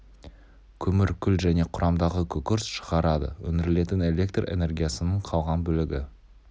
көмір күл және құрамдағы күкірт шығарады өндірілетін электр энергиясының қалған бөлігі